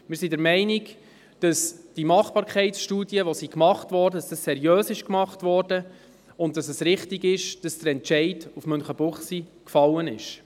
Wir sind der Meinung, dass die Machbarkeitsstudie seriös durchgeführt wurde und dass es richtig ist, dass der Entscheid auf Münchenbuchsee gefallen ist.